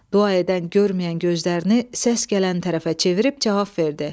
Dua edən görməyən gözlərini səs gələn tərəfə çevirib cavab verdi.